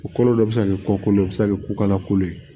O kolo dɔ bɛ se ka kɛ ko kolo bɛ se ka kɛ ko kala kolo ye